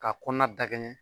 Ka kɔnɔna dakɛɲɛ